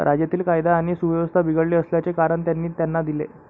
राज्यातील कायदा आणि सुव्यवस्था बिघडली असल्याचे कारण त्यांनी त्यांना दिले.